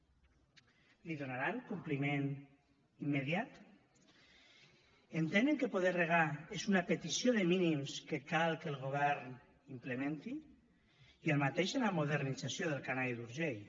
l’hi donaran compliment immediat entenen que poder regar és una petició de mínims que cal que el govern implementi i el mateix en la modernització del canal d’urgell